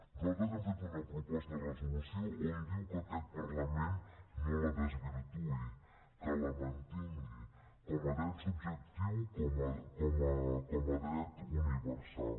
nosaltres hem fet una proposta de resolució on diu que aquest parlament no la desvirtuï que la mantingui com a dret subjectiu com a dret universal